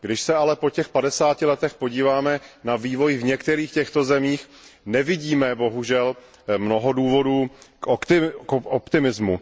Když se ale po těch padesáti letech podíváme na vývoj v některých těchto zemích, nevidíme, bohužel, mnoho důvodů k optimismu.